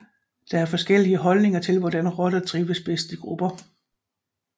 Der er forskellige holdninger til hvordan rotter trives bedst i grupper